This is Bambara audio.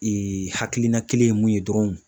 hakilina kelen ye mun ye dɔrɔn